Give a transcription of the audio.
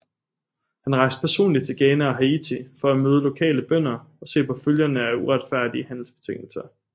Han rejste personligt til Ghana og Haiti for at møde lokale bønder og se på følgerne af uretfærdige handelsbetingelser